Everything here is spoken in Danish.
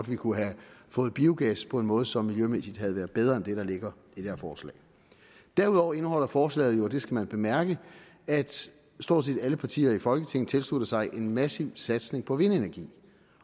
vi kunne have fået biogas på en måde som miljømæssigt havde været bedre end det der ligger i det her forslag derudover indeholder forslaget og det skal man bemærke at stort set alle partier i folketinget tilslutter sig en massiv satsning på vindenergi